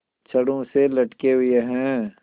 छड़ों से लटके हुए हैं